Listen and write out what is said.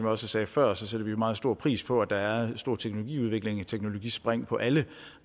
også sagde før sætter vi meget stor pris på at der er stor teknologiudvikling teknologispring på alle